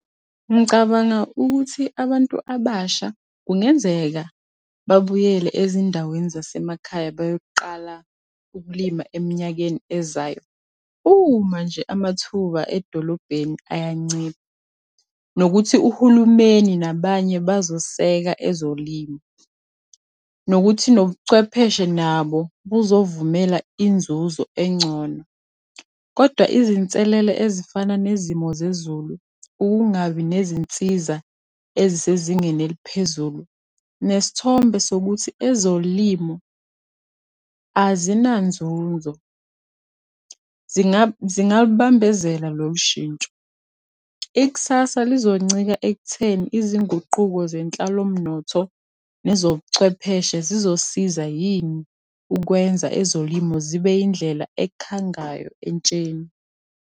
Ngicabanga ukuthi abantu abasha kungenzeka babuyele ezindaweni zasemakhaya bayoqala ukulima eminyakeni ezayo, uma nje amathuba edolobheni ayancipha. Nokuthi uhulumeni nabanye bazoseka ezolimo, nokuthi nobuchwepheshe nabo buzovumela inzuzo engcono, Kodwa izinselele ezifana nezimo zezulu, ukungabi nezinsiza ezisezingeni eliphezulu, nesithombe sokuthi ezolimo azinanzuzo, zingalubambezela lolu shintsho. Ikusasa lizoncika ekutheni izinguquko zenhlalomnotho, nezobuchwepheshe zizo siza yini, ukwenza ezolimo zibe yindlela ekhangayo entsheni.